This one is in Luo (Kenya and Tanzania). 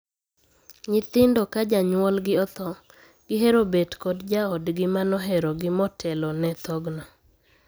Nyithindo ka janyuolgi othoo, gihero bet kod jaodgi ma noherogi motelone thogno.